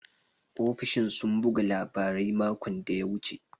Ofishin sun buga labarai makon da ya wuce.